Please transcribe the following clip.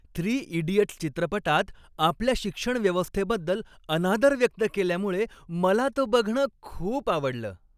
Three idiots' चित्रपटात आपल्या शिक्षण व्यवस्थेबद्दल अनादर व्यक्त केल्यामुळे मला तो बघणं खूप आवडलं.